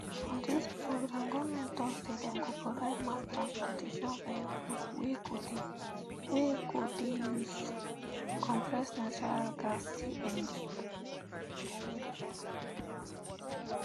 for dis programme goment tok say dem go provide mass transportation vehicles wey go dey use um compressed natural um gas cng